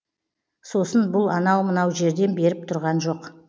сосын бұл анау мынау жерден беріп тұрған жоқ